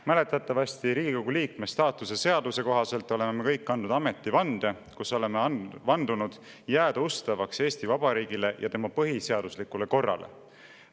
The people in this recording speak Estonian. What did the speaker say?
Mäletatavasti Riigikogu liikme staatuse seaduse kohaselt oleme me kõik andnud ametivande, millega oleme jääda ustavaks Eesti Vabariigile ja tema põhiseaduslikule korrale.